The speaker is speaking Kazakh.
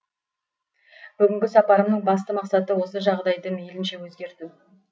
бүгінгі сапарымның басты мақсаты осы жағдайды мейлінше өзгерту